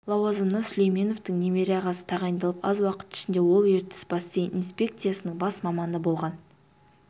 лауазымына сүлейменовтің немере ағасы тағайындалып аз уақыт ішінде ол ертіс бассейн инспекциясының бас маманы болған